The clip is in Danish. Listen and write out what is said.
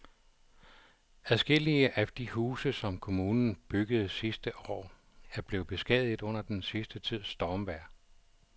Adskillige af de huse, som kommunen byggede sidste år, er blevet beskadiget under den sidste tids stormvejr.